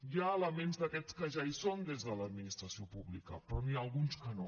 hi ha elements d’aquests que ja hi són des de l’administració pública però n’hi ha alguns que no